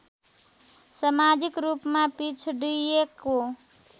समाजिक रूपमा पिछडिएको